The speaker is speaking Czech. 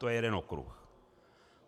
To je jeden okruh.